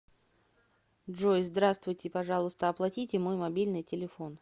джой здравствуйте пожалуйста оплатите мой мобильный телефон